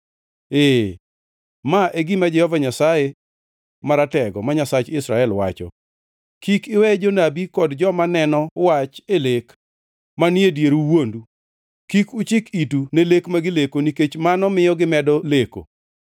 Ee, ma e gima Jehova Nyasaye Maratego, ma Nyasach Israel, wacho: “Kik iwe jonabi kod joma neno wach e lek manie dieru wuondu. Kik uchik itu ne lek ma gileko nikech mano miyo gimedo leko.